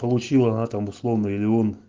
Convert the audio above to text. получила она там условно или он